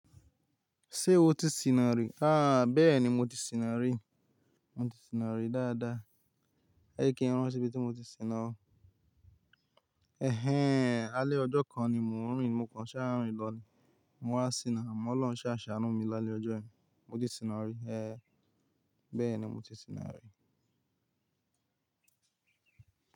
Ṣé o ti sìnà rí? Háá bẹ́ẹ̀ ni mo ti sìnà rí, mo ti sìnà rí dáadáa. Jẹ́ kín rántí ibi tí mo ti sìnà o. Ẹhẹ́n, alé ọjọ́ kan ni mo ń rìn. Mo kàn sáà ń rìn lọ ni, mo wá sìnà. Àmọ́ Olóhun sáà ṣàánú mi l'alẹ́ ọjọ́ yẹn. Mo ti sìnà rí. Ẹ́ẹ́ bẹ́ẹ̀ ni mo ti sìnà rí.